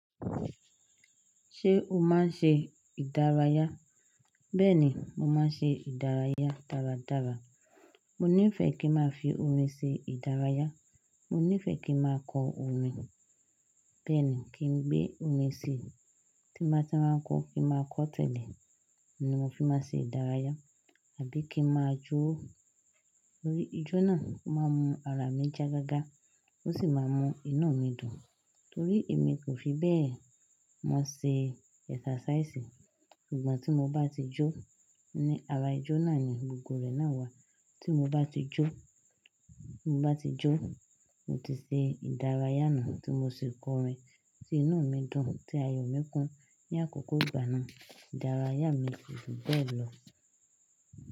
Ṣé o máa ń ṣe ìdárayá? Bẹ́ẹ̀ni, mo máa ń ṣe ìdárayá dáradára. Mo nífẹ̀ẹ́ kí ń máa fi orin ṣe ìdárayá. Mo nífẹ̀ẹ́ kí ń máa kọ orin, bẹ́ẹ̀ ni kí n gbé orin sí tí n bá ti rorà n kọ́ kí n máa kọ́ tẹ̀lé. Ó ni mo fi máa ṣe ìdárayá àbí kí ń máa jó. Torí ijó náà o máa ń mú ara mi já gágá ó sì máa ń mú iná mi dùn. Torí èmi kò fi bẹ́ẹ̀ mọ ṣe ẹsàsáísì. Ṣùgbọ́n tí mo bá ti jó, ní ara ijó náà ni gbogbo rẹ̀ náà wà. Tí mo bá ti jó, mo bá ti jó, mo ti ṣe ìdárayá nu tí mo sì kọ orin tí inu mi dùn tí ayọ̀ mi kún ní àkókò ìgbà náà. Ìdárayá mi ko ju bẹ́ẹ̀ lọ.